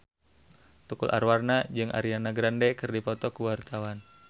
Tukul Arwana jeung Ariana Grande keur dipoto ku wartawan